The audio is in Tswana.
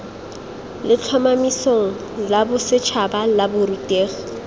letlhomesong la bosetšhaba la borutegi